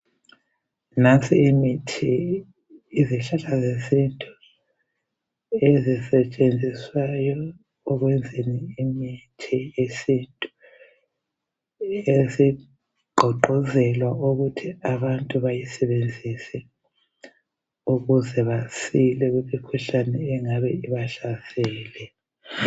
Nansi imithi, izihlahla zesintu ezisetshenziswayo ukwenza imithi yesintu esigqugquzelwa ukuthi abantu bayisebenzise ukuze basile kumikhuhlane engabe ibahlasele.